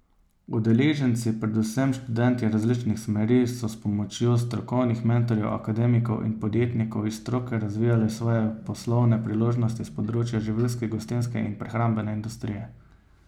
Udeleženci, predvsem študentje različnih smeri, so s pomočjo strokovnih mentorjev, akademikov in podjetnikov iz stroke razvijali svoje poslovne priložnosti s področja živilske, gostinske in prehrambne industrije.